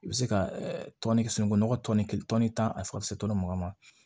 I bɛ se ka tɔnni sununkun nɔgɔ tɔnni tɔnni tan a ka se mugan ma